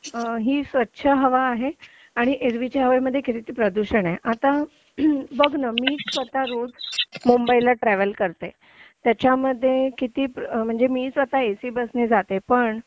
ही स्वच्छ हवा आहे आणि एरवीच्या हवेमध्ये किती ते प्रदूषण आहे आता बघ ना मी स्वतः रोज मुंबईला ट्रॅव्हल करते त्याच्यामध्ये किती म्हणजे मी एसी बसने जाते पण